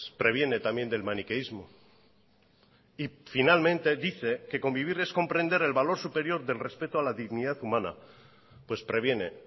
previene también del maniqueísmo y finalmente dice que convivir es comprender el valor superior del respeto a la dignidad humana pues previene